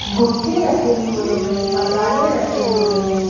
गुटके रखे हुए हैं। मसाले रखे हुए हैं।